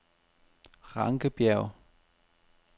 Rankenbjerg